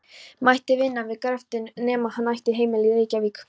mætti vinna við gröftinn nema hann ætti heimili í Reykjavík.